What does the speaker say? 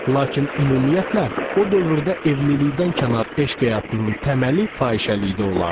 Lakin ümumiyyətlə, o dövrdə evlilikdən kənar eşq həyatının təməli fahişəlikdə olardı.